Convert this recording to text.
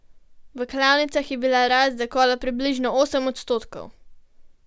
V klavnicah je bila rast zakola približno osem odstotkov.